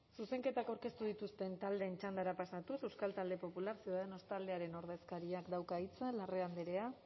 zuzenketak aurkeztu dituzten taldeen txandara pasatuz euskal talde popular ciudadanos taldearen ordezkariak dauka hitza larrea andrea